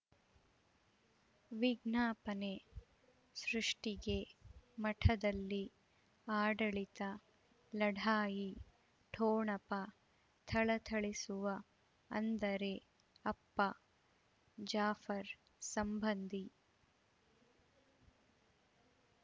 ವಿಜ್ಞಾಪನೆ ಸೃಷ್ಟಿಗೆ ಮಠದಲ್ಲಿ ಆಡಳಿತ ಲಢಾಯಿ ಠೊಣಪ ಥಳಥಳಿಸುವ ಅಂದರೆ ಅಪ್ಪ ಜಾಫರ್ ಸಂಬಂಧಿ